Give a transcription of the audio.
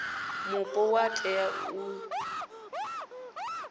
mupo vha tea u ḓi